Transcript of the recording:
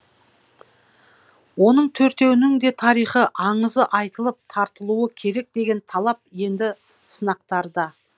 оның төртеуінің де тарихы аңызы айтылып тартылуы керек деген талап енді сынақтарда